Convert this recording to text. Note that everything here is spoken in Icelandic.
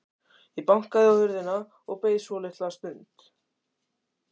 Ég bankaði á hurðina og beið svolitla stund.